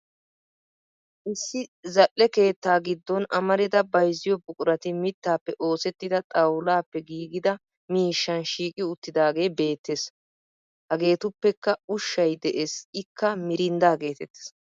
Issi zal'e keettaa giddon amarida bayizziyo buqurati mittappe oosettida xawulaappe giigida miishan shiiqi uttidaagee beettes. Hageetuppekka ushshay de'es ikka mirinddaa geetettes.